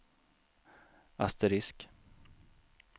asterisk